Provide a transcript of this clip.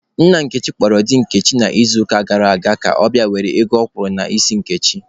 Nna Nkechi kpọrọ di Nkechi n'izuụka gara aga ka ọ bịa were ego ọ kwụrụ n'isi Nkechi.